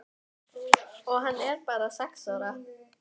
Og hann er bara sex ára.